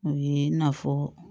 O ye i n'a fɔ